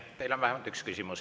Teile on vähemalt üks küsimus.